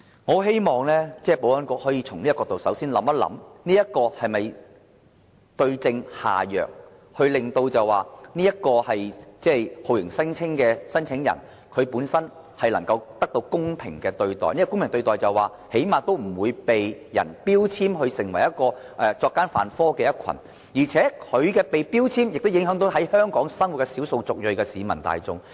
我希望保安局可以首先從這個角度，想想能否對症下藥，令到酷刑聲請人本身能得到公平對待，最低限度不被標籤為作奸犯科的一群，而這種標籤亦會影響在香港生活的少數族裔人士。